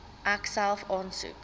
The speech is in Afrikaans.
ek self aansoek